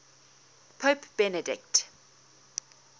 pope benedict